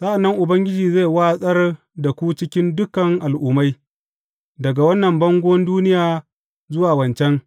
Sa’an nan Ubangiji zai watsar da ku cikin dukan al’ummai, daga wannan bangon duniya zuwa wancan.